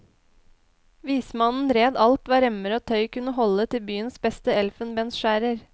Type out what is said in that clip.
Vismannen red alt hva remmer og tøy kunne holde til byens beste elfenbensskjærer.